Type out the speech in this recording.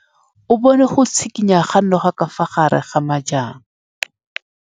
O bone go tshikinya ga noga ka fa gare ga majang.